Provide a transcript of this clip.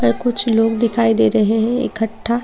कुछ लोग दिखाइ दे रहे हैं इकट्ठा --